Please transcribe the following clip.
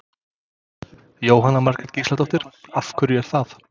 Jóhanna Margrét Gísladóttir: Af hverju er það?